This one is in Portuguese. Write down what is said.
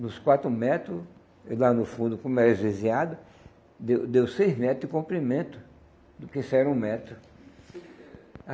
Nos quatro metro, lá no fundo, como era esvaziado, deu deu seis metros de comprimento do que se era um metro.